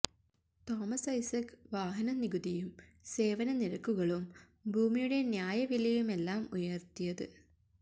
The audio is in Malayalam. തോമസ് ഐസക് വാഹന നികുതിയും സേവന നിരക്കുകളും ഭൂമിയുടെ ന്യായവിലയുമെല്ലാം ഉയര്ത്തിയത്